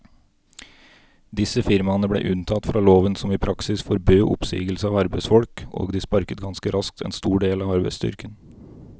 Disse firmaene ble unntatt fra loven som i praksis forbød oppsigelse av arbeidsfolk, og de sparket ganske raskt en stor del av arbeidsstyrken.